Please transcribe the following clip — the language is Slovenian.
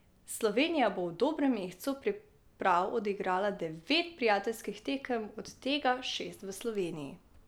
Slovenija bo v dobrem mesecu priprav odigrala devet prijateljskih tekem, od tega šest v Sloveniji.